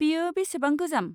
बेयो बेसेबां गोजाम?